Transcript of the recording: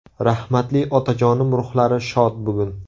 Rahmatli otajonim ruhlari shod bugun!